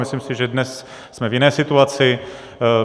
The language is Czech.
Myslím si, že dnes jsme v jiné situaci.